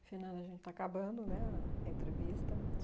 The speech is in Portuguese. Afinal, a gente está acabando, né, a entrevista.